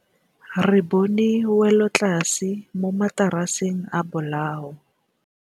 Re bone wêlôtlasê mo mataraseng a bolaô.